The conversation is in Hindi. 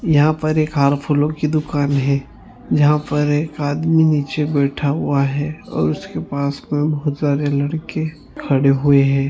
यहाँ पर एक हार फूलो की दुकान है जहा पर एक आदमी निचे बैठा हुआ है और उसके पास बहुत सारे लड़के खड़े हुए है।